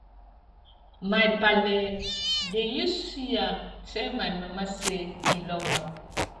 my paale dey use suya tell my mama sey e love am